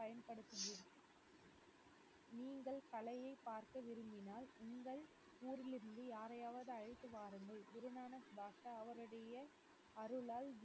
பயன்படுத்தியே நீங்கள் கலையை பார்க்க விரும்பினால் உங்கள் ஊரிலிருந்து யாரையாவது அழைத்துவாருங்கள் குருநானக் பாஷா அவருடைய அருளால்